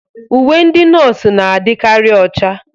Uwe ndị nọọsụ na-adịkarị ocha.